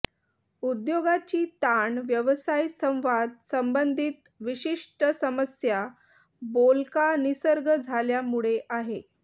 उद्योगाची ताण व्यवसाय संवाद संबंधित विशिष्ट समस्या बोलका निसर्ग झाल्यामुळे आहे